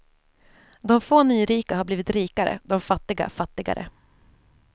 De få nyrika har blivit rikare, de fattiga fattigare.